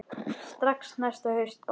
Strax næsta haust bara.